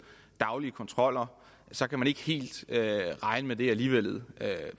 daglige kontroller så kan man ikke helt regne med det alligevel